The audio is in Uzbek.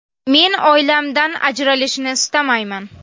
Men oilamdan ajralishni istamayman.